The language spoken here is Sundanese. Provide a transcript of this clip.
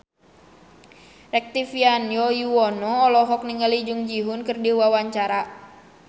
Rektivianto Yoewono olohok ningali Jung Ji Hoon keur diwawancara